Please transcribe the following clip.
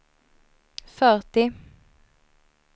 fyrtio